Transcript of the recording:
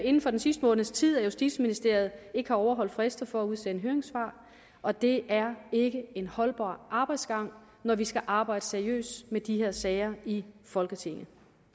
inden for den sidste måneds tid at justitsministeriet ikke har overholdt frister for at udsende høringssvar og det er ikke en holdbar arbejdsgang når vi skal arbejde seriøst med de her sager i folketinget